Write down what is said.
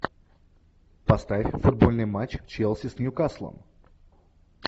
поставь футбольный матч челси с ньюкаслом